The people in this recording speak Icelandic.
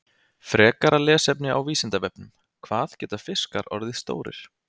Frekara lesefni á Vísindavefnum: Hvað geta fiskar orðið stórir?